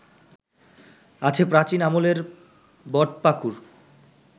আছে প্রাচীন আমলের বটপাকুড়